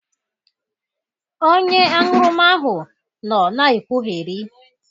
Onye aṅụrụma ahụ nọ na-ekwụgherị